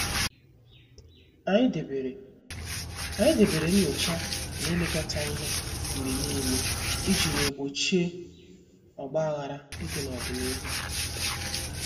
Anyị debere Anyị debere nyocha na ilekọta ihe mgbe niile iji wee gbochie ogbaghara ịdị n'ọdịnihu.